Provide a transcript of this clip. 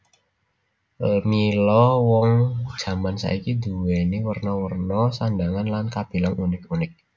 Mila wong jaman saiki duweni werna werna sandhangan lan kabilang unik unik